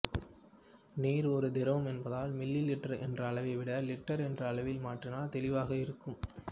நீர் ஒரு திரவம் என்பதால் மில்லி லிட்டர் என்ற அளவைவிட லிட்டர் என்ற அளவில் மாற்றினால் தெளிவாக இருக்கும்